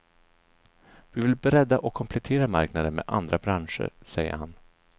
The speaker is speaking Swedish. Vi vill bredda och komplettera marknaden med andra branscher, säger han.